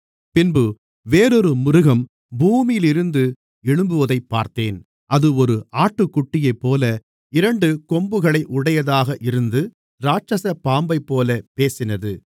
பின்பு வேறொரு மிருகம் பூமியிலிருந்து எழும்புவதைப் பார்த்தேன் அது ஒரு ஆட்டுக்குட்டியைப்போல இரண்டு கொம்புகளை உடையதாக இருந்து இராட்சசப் பாம்பைப்போலப் பேசினது